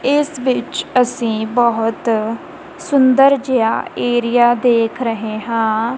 ਏਸ ਵਿੱਚ ਅੱਸੀਂ ਬਹੁਤ ਸੁੰਦਰ ਜੇਹਾ ਏਰੀਆ ਦੇਖ ਰਹੇ ਹਾਂ।